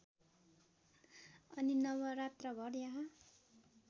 अनि नवरात्रभर यहाँ